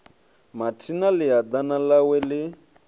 mathina ḽia ḓana ḽawe ḽi